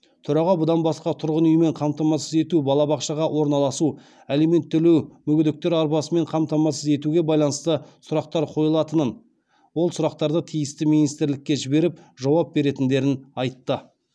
төраға бұдан басқа тұрғын үймен қамтамасыз ету балабақшаға орналасу алимент төлеу мүгедектер арбасымен қамтамасыз етуге байланысты сұрақтар қойылатынын ол сұрақтарды тиісті министрлікке жіберіп жауап беретіндерін айтты